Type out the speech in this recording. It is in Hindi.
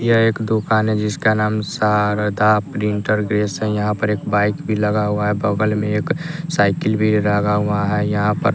यह एक दुकान है जिसका नाम शारदा प्रिंटर्स बेस है यहां पर एक बाइक भी लगा हुआ है बगल में एक साइकिल भी लगा हुआ है यहां पर--